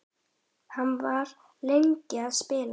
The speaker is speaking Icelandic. Hann var lengi að spila.